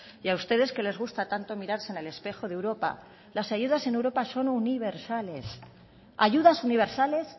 y a ustedes que les gusta tanto mirarse en el espejo de europa las ayudas en europa son universales ayudas universales